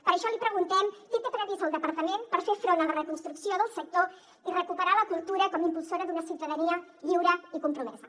per això li preguntem què té previst el departament per fer front a la reconstrucció del sector i recuperar la cultura com a impulsora d’una ciutadania lliure i compromesa